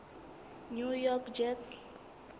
new york jets